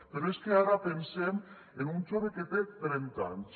però és que ara pensem en un jove que té trenta anys